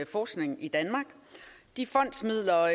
forskningen i danmark de fondsmidler